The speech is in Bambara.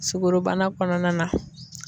Sukorobana kɔnɔna na